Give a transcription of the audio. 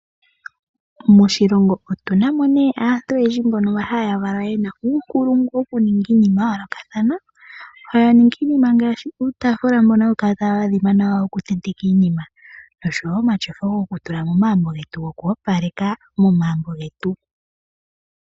Moshilongo otuna mo ne aantu oyendji mbono haya valwa yena uunkulungu woku ninga iinima yayo lokathana. Ohaya ningi iinima ngashi uutafula mbono hawu kala tawu adhima nawa woku te ntekwa iinima noshowo omatyofa goku tula momagumbo getu noku opaleka momagumbo getu.